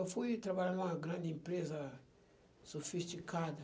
Eu fui trabalhar numa grande empresa sofisticada.